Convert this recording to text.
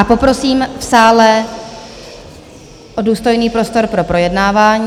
A poprosím v sále o důstojný prostor pro projednávání.